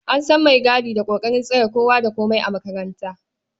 An san maigadi da ƙoƙarin tsare kowa da komai a makarantar.